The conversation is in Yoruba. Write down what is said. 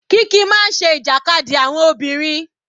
Kiki máa ń ṣe ìjàkadì àwọn obìnrin.